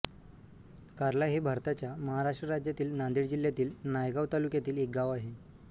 कार्ला हे भारताच्या महाराष्ट्र राज्यातील नांदेड जिल्ह्यातील नायगाव तालुक्यातील एक गाव आहे